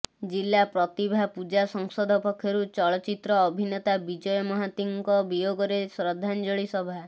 ଜିଲ୍ଲା ପ୍ରତିଭା ପୂଜା ସଂସଦ ପକ୍ଷରୁ ଚଳଚିତ୍ର ଅଭିନେତା ବିଜୟ ମହାନ୍ତିଙ୍କ ବିୟୋଗରେ ଶ୍ରଦ୍ଧାଞ୍ଜଳି ସଭା